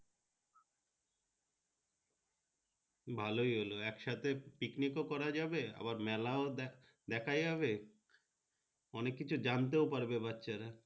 ভালোই হলো একসাথে picnic ও করা যাবে আবার মেলা দেখা যাবে অনেক কিছু জানতেও পারবে বাচ্চারা।